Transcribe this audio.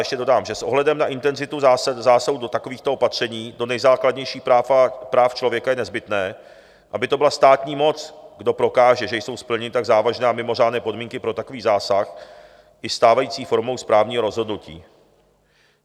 Ještě dodám, že s ohledem na intenzitu zásahů do takovýchto opatření, do nejzákladnějších práv člověka, je nezbytné, aby to byla státní moc, kdo prokáže, že jsou splněny tak závažné a mimořádné podmínky pro takový zásah, i stávající formou správního rozhodnutí.